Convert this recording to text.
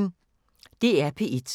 DR P1